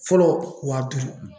Fɔlɔ wa duuru